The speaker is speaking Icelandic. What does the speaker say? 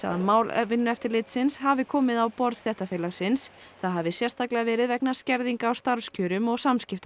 að mál Vinnueftirlitsins hafi komið á borð stéttarfélagsins það hafi sérstaklega verið vegna skerðinga á starfskjörum og